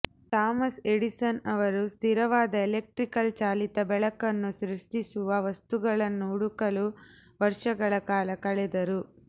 Thomas Edison ಅವರು ಸ್ಥಿರವಾದ electrical ಚಾಲಿತ ಬೆಳಕನ್ನು ಸೃಷ್ಟಿಸುವ ವಸ್ತುಗಳನ್ನು ಹುಡುಕಲು ವರ್ಷಗಳ ಕಾಲ ಕಳೆದರು